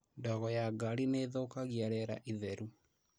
Ndogo ya ngari nĩthũkagia rĩera itheru